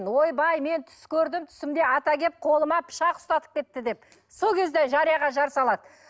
ойбай мен түс көрдім түсімде ата келіп қолыма пышақ ұстатып кетті деп сол кезде жарияға жар салады